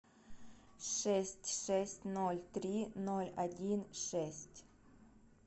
шесть шесть ноль три ноль один шесть